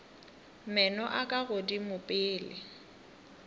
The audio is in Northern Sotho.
meno a ka godimo pele